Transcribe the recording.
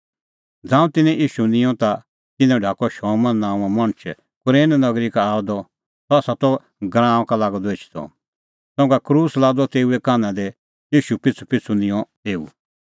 ज़ांऊं तिन्नैं ईशू निंयं ता तिन्नैं ढाकअ शमौन नांओं मणछ कुरेन नगरी का आअ द सह त गराऊंआं का लागअ द एछदअ संघा क्रूस लादअ तेऊए कान्हा कि ईशू पिछ़ूपिछ़ू निंऊं एऊ